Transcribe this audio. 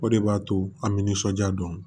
O de b'a to an bɛ nisɔndiya dɔn